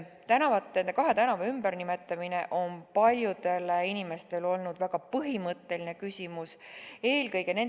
Nende kahe tänava ümbernimetamine on olnud väga põhimõtteline küsimus paljudele inimestele.